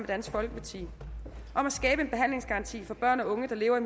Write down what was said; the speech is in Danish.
dansk folkeparti om at skabe en behandlingsgaranti for børn og unge der lever